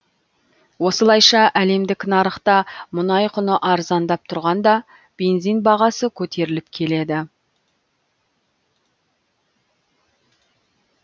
осылайша әлемдік нарықта мұнай құны арзандап тұрғанда бензин бағасы көтеріліп келеді